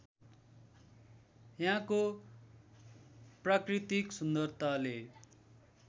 यहाँको प्राकृतिक सुन्दरताले